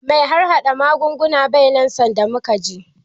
Mai harhaɗa magunguna bai nan sanda muke je.